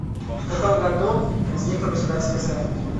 в каком году возникло государство израиль